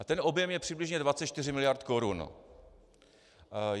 A ten objem je přibližně 24 miliard korun.